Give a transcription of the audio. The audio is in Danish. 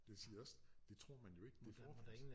Det siger også det tror man jo ikke det